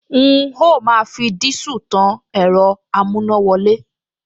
N óò máa fi dísù tan ẹ̀rọ amúnáwọlé